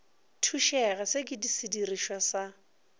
thušega se ke sedirišwa sa